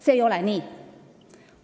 See ei ole nii.